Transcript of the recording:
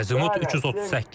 Azimut 338.